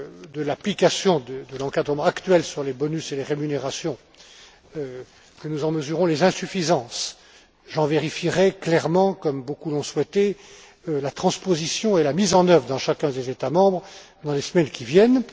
de l'application de l'encadrement actuel sur les bonus et les rémunérations, que nous en mesurerons les insuffisances, j'en vérifierai clairement comme beaucoup l'ont souhaité la transposition et la mise en œuvre dans chacun des États membres dans les semaines qui viennent.